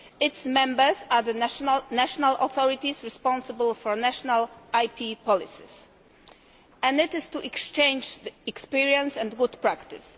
Its members are the national authorities responsible for national IP policies, and it is to exchange experience and good practice.